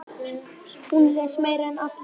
Hún les meira en allir.